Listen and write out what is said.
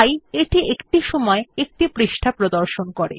তাই এটি একটি সময়ে একটি পৃষ্ঠা প্রদর্শন করে